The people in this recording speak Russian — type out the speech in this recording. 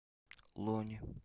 лони